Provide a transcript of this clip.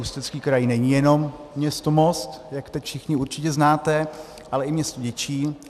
Ústecký kraj není jenom město Most, jak teď všichni určitě znáte, ale i město Děčín.